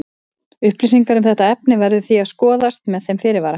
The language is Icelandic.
Upplýsingar um þetta efni verður því að skoðast með þeim fyrirvara.